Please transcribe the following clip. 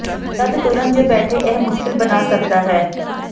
ਜਦ ਤੁਰਨ ਜ ਬੈਠੇ ਇਹ ਮੁਸ਼ਕਲ ਬਣਾ ਸਕਦਾ ਹੈ